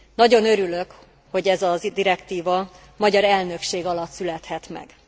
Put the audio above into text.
Nagyon örülök, hogy ez a direktíva magyar elnökség alatt születhet meg.